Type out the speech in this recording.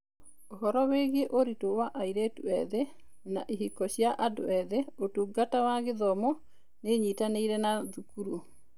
Ũhoro-inĩ wĩgiĩ ũritũ wa airĩtũ eth na ihiko cia andũ ethĩ, Ũtungata wa Gĩthomo nĩ ĩnyitanĩire na thukuru.